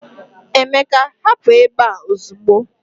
Emeka, hapụ ebe a ozugbo